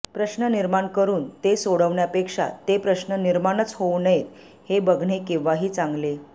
प्रश्न निर्माण करून ते सोडवण्यापेक्षा ते प्रश्न निर्माणच होऊ नयेत हे बघणे केव्हाही चांगले